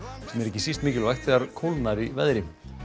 sem er ekki síst mikilvægt þegar kólnar í veðri